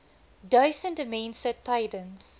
duisende mense tydens